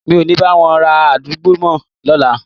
Mi ò ní bá wọn ra àgbálùmọ́ lọ́la.